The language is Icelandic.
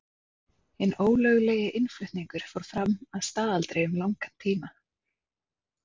Hinn ólöglegi innflutningur fór fram að staðaldri um langan tíma.